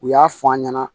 U y'a fɔ an ɲɛna